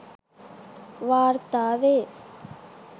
වාර්තා වේ.